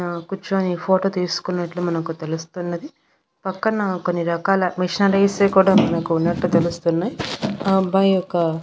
ఆ కూర్చొని ఫోటో తీసుకున్నట్లు మనకు తెలుస్తున్నది పక్కన కొన్ని రకాల మిషనరీ సే కూడా మనకు ఉన్నట్టు తెలుస్తున్నాయ్ ఆ అబ్బాయి ఒక--